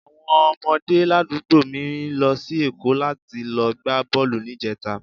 Àwọn ọmọdé ládùúgbò mi lọ sí Èkó láti lọ gbá bọ́ọ̀lù ní ìjẹta